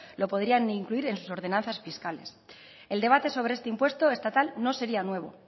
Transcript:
lo podrían incluir en sus ordenanzas fiscales el debate sobre este impuesto estatal no sería nuevo